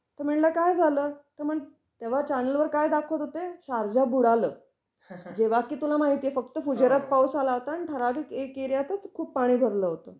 तर म्हंटल काय झालं? तेव्हा चॅनेलवर काय दाखवत होते शारजा बुडालं. जेव्हा की तुला माहिती आहे फक्त फुजेऱ्यात पावस आला होता आणि ठराविक एक एरिया तच खूप पाणी भरलं होतं.